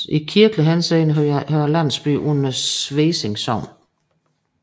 I kirkelig henseende hører landsbyen under Svesing Sogn